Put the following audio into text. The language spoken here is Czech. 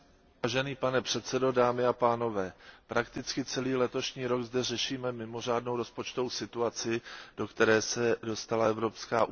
Pane předsedající, prakticky celý letošní rok zde řešíme mimořádnou rozpočtovou situaci, do které se dostala Evropská unie.